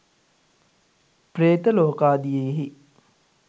ප්‍රේත ලෝකාදියෙහි